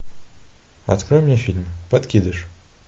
открой мне фильм подкидыш